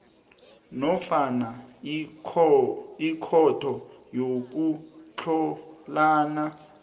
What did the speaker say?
nofana ikhotho yokutlhalana